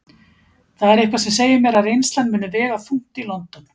Það er eitthvað sem segir mér að reynslan muni vega þungt í London.